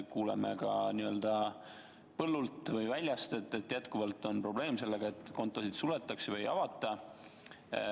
Kuuleme ka n-ö põllult või väljast, et jätkuvalt on probleem sellega, et kontosid suletakse või ei avata.